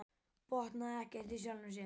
Botnaði ekkert í sjálfum sér.